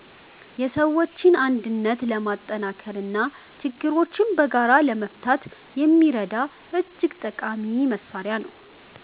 የሰዎችን አንድነት ለማጠናከርና ችግሮችን በጋራ ለመፍታት የሚረዳ እጅግ ጠቃሚ መሣሪያ ነው።